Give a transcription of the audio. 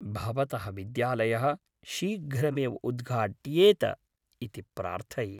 भवतः विद्यालयः शीघ्रमेव उद्घाट्येत इति प्रार्थये।